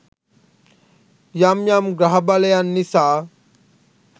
යම් යම් ග්‍රහ බලයන් නිසා